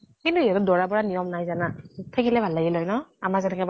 কিন্তু সিহতৰ দৰা বৰা নিয়ম নাই জানা? থাকিলে ভাল লাগিল হয় ন, আমাৰ যেনেকে